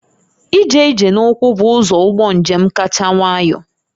Ije ije n'ụkwụ bụ ụzọ ụgbọ njem kacha nwayọ